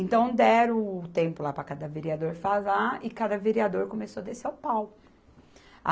Então, deram o tempo lá para cada vereador falar e cada vereador começou a descer o pau.